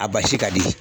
A basi ka di